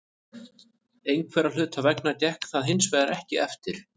Einhverra hluta vegna gekk það hinsvegar ekki eftir.